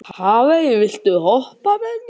Hafey, viltu hoppa með mér?